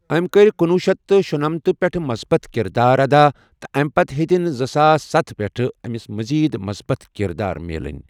أمۍ کٔرۍ کُنوُہ شیٚتھ تہٕ شُنمتہ پٮ۪ٹھٕ مثبت کِردار ادا تہٕ امہ پتہ ہٮ۪تِن زٕساس ستَھ پٮ۪ٹھٕ امس مٔزیٖد مثبت کِردار مِلٕنۍ۔